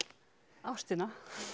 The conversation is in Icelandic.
ástina